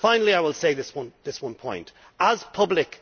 Finally, I will make this one point. As public